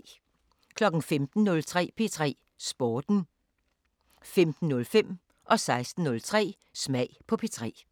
15:03: P3 Sporten 15:05: Smag på P3 16:03: Smag på P3